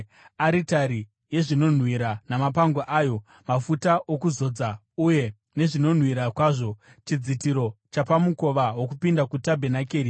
aritari yezvinonhuhwira namapango ayo, mafuta okuzodza uye nezvinonhuhwira kwazvo; chidzitiro chapamukova wokupinda kutabhenakeri;